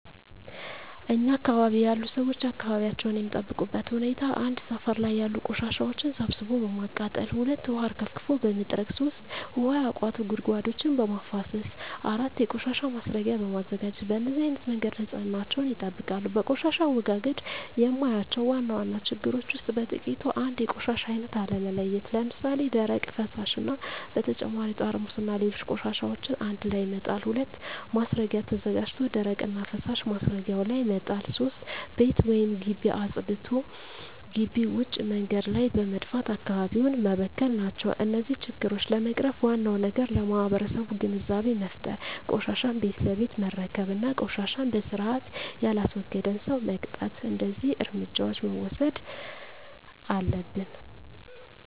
እኛ አካባቢ ያሉ ሠዎች አካባቢያቸውን የሚጠብቁበት ሁኔታ 1. ሠፈር ላይ ያሉ ቆሻሻዎችን ሠብስቦ በማቃጠል 2. ውሀ አርከፍክፎ በመጥረግ 3. ውሀ ያቋቱ ጉድጓዶችን በማፋሠስ 4. የቆሻሻ ማስረጊያ በማዘጋጀት በነዚህ አይነት መንገድ ንፅህናቸውን ይጠብቃሉ። በቆሻሻ አወጋገድ የማያቸው ዋና ዋና ችግሮች ውስጥ በጥቂቱ 1. የቆሻሻ አይነት አለመለየት ለምሣሌ፦ ደረቅ፣ ፈሣሽ እና በተጨማሪ ጠርሙስና ሌሎች ቆሻሻዎችን አንድላይ መጣል። 2. ማስረጊያ ተዘጋጅቶ ደረቅና ፈሣሽ ማስረጊያው ላይ መጣል። 3. ቤት ወይም ግቢ አፅድቶ ግቢ ውጭ መንገድ ላይ በመድፋት አካባቢውን መበከል ናቸው። እነዚህን ችግሮች ለመቅረፍ ዋናው ነገር ለማህበረሠቡ ግንዛቤ መፍጠር፤ ቆሻሻን ቤት ለቤት መረከብ እና ቆሻሻን በስርአት የላስወገደን ሠው መቅጣት። እደዚህ እርምጃዎች መውሠድ አለብን።